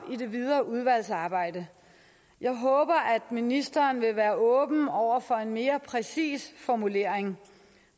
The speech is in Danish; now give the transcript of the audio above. i det videre udvalgsarbejde jeg håber at ministeren vil være åben over for en mere præcis formulering